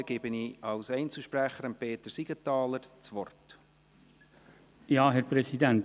Ich gebe Peter Siegenthaler als Einzelsprecher das Wort.